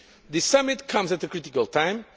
This summit comes at a critical time.